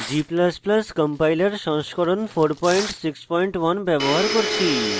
g ++ compiler সংস্করণ 461 ব্যবহার করছি